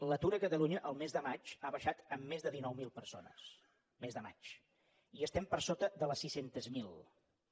l’atur a catalunya el mes de maig ha baixat en més de dinou mil persones mes de maig i estem per sota de les sis cents miler